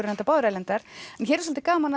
reyndar báðar erlendar hér er svolítið gaman